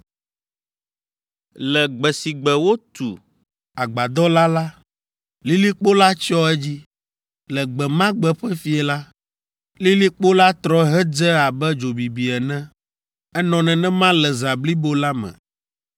Le gbe si gbe wotu agbadɔ la la, lilikpo la tsyɔ edzi. Le gbe ma gbe ƒe fiẽ la, lilikpo la trɔ hedze abe dzo bibi ene. Enɔ nenema le zã blibo la me.